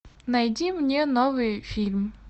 найди мне новый фильм